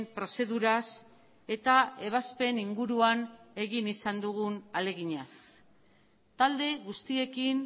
prozeduraz eta ebazpen inguruan egin izan dugu ahaleginez talde guztiekin